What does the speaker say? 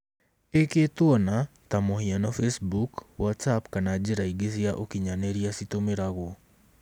Ĩkĩĩtwo na, ta mũhiano Facebook, WhatsApp kana njĩra ingĩ cia ũkinyanĩria citũmĩragwo.